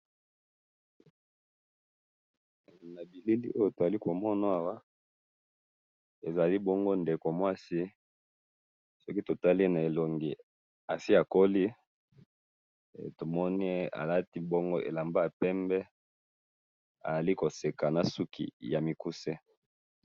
Nabilili oyo tozomona awa ezalibongo ndeko mwasi, soki totali na elongi asi akoli, tomoni alati bongo elamba yapembe, azalikoseka nasuki yamikuse.